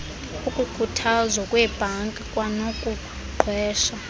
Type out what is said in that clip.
ukukhuthuzwa kweebhanki kwanokuqhwesha